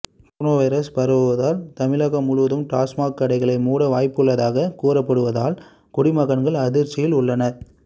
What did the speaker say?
corona virus பரவுவதால் தமிழகம் முழுவதும் TASMAC கடைகளை மூட வாய்ப்புள்ளதாக கூறப்படுவதால் குடிமகன்கள் அதிர்ச்சியில் உள்ளனர்